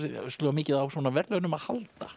mikið á svona verðlaunum að halda